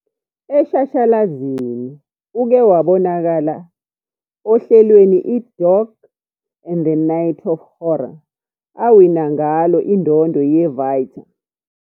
Eshashalazini uke wabonakala ohlelweni i- "Dog and The Night of Horror", awina ngalo indondo ye-Vita.